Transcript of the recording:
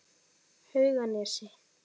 Hauganesi